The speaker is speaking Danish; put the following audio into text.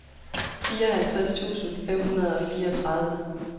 fireoghalvtreds tusind fem hundrede og fireogtredive